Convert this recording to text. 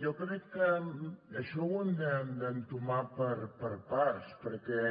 jo crec que això ho hem d’entomar per parts perquè